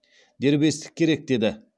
дербестік керек деді